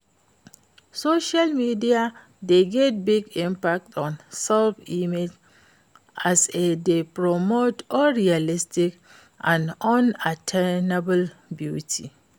Social media dey get big impact on self-image as e dey promote unrealistic and unattainable beauty.